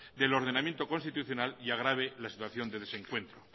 del ordenamiento constitucional y agrave la situación de desencuentro